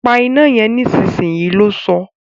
Pa iná yen nísinsìnyí! lo sọ́